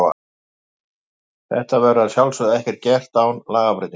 Þetta verður að sjálfsögðu ekki gert án lagabreytingar.